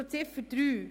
Zu Ziffer 3